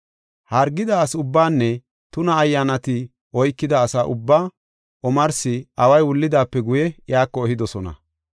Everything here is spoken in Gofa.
Hargida asa ubbaanne tuna ayyaanati oykida asa ubbaa omarsi away wullidaape guye, iyako ehidosona.